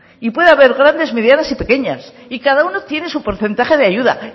y puede haber grandes medianas y pequeñas y cada uno tiene su porcentaje de ayuda